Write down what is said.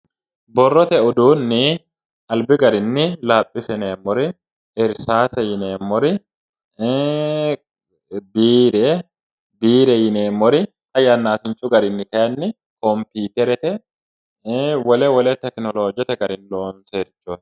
Birrote uduunni alib garinni laphise yineemor irisaase yineemor biire biire yineemor xa yaasinichu garii kayin comipiterete wole wole tekinolojete garii lonsoworet